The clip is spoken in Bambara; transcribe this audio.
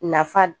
Nafa